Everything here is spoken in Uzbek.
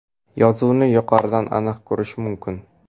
Yozuvni yuqoridan aniq ko‘rish mumkin.